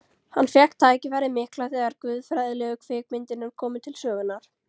Hann fékk tækifærið mikla þegar guðfræðilegu kvikmyndirnar komu til sögunnar.